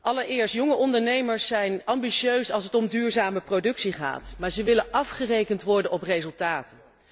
Allereerst, jonge ondernemers zijn ambitieus als het om duurzame productie gaat, maar ze willen afgerekend worden op resultaten.